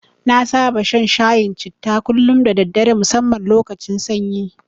Na saba shan shayin citta kullum da daddare musamman lokacin sanyi.